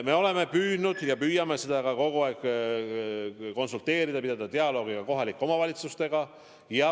Me oleme püüdnud sel teemal kogu aeg konsulteerida, pidada dialoogi ka kohalike omavalitsustega.